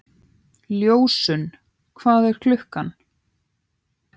Ljósunn, hvað er klukkan?